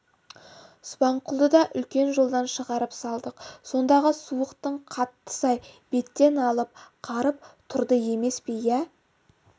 субанқұлды да үлкен жолдан шығарып салдық сондағы суықтың қаттысы-ай беттен алып қарып тұрды емес пе иә